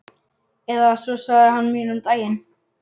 Eða svo sagði hann mér um daginn.